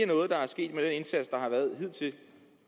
noget der er sket med den indsats der har været hidtil